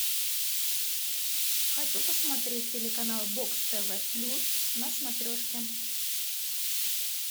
хочу посмотреть телеканал бокс тв плюс на смотрешке